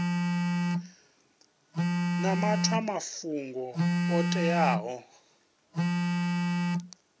na maṅwe mafhungo o teaho